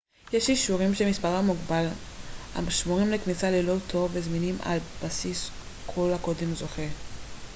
יש אישורים שמספרם מוגבל השמורים לכניסה ללא תור וזמינים על בסיס כל הקודם זוכה